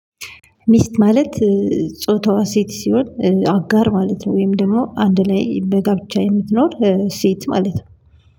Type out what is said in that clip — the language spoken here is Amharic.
ሚስት ማለት ጮታዋ ሴት ሲሆን አጋር ማለት ነው። ወይም ደግሞ አንድ ላይ በጋብቻ የምትኖር ሴት ማለት ነው።